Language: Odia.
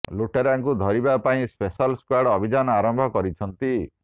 ଲୁଟେରାଙ୍କୁ ଧରିବା ପାଇଁ ସ୍ପେଶାଲ ସ୍କ୍ୱାର୍ଡ ଅଭିଯାନ ଆରମ୍ଭ କରିଛନ୍ତି